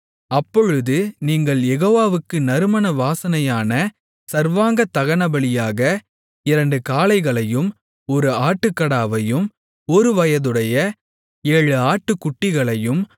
அப்பொழுது நீங்கள் யெகோவாவுக்கு நறுமண வாசனையான சர்வாங்கதகனபலியாக இரண்டு காளைகளையும் ஒரு ஆட்டுக்கடாவையும் ஒருவயதுடைய ஏழு ஆட்டுக்குட்டிகளையும்